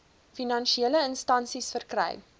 finansiële instansies verkry